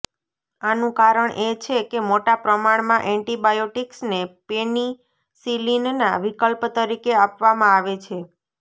આનું કારણ એ છે કે મોટા પ્રમાણમાં એન્ટિબાયોટિક્સને પેનિસિલિનના વિકલ્પ તરીકે આપવામાં આવે છે